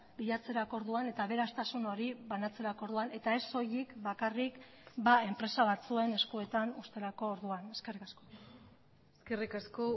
bilatzerako orduan eta aberastasun hori banatzerako orduan eta ez soilik bakarrik enpresa batzuen eskuetan uzterako orduan eskerrik asko eskerrik asko